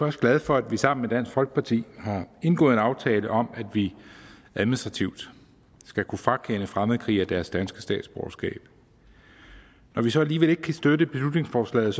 også glad for at vi sammen med dansk folkeparti har indgået en aftale om at vi administrativt skal kunne frakende fremmedkrigere deres danske statsborgerskab når vi så alligevel ikke kan støtte beslutningsforslaget